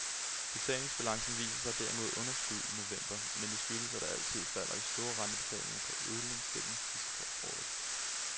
Betalingsbalancen viser derimod underskud i november, men det skyldes at der altid i falder store rentebetalinger på udlandsgælden sidst på året.